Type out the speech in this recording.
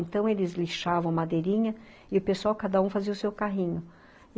Então, eles lixavam madeirinha e o pessoal, cada um, fazia o seu carrinho.